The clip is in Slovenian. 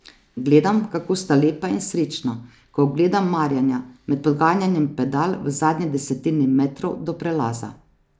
Gledam, kako sta lepa in srečna, ko ugledam Marjana med poganjanjem pedal v zadnji desetini metrov do prelaza.